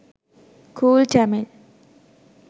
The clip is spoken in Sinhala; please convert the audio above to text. cool tamil